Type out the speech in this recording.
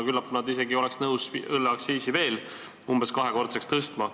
Küllap nad isegi oleks nõus õlleaktsiisi veel umbes kahekordseks tõstma.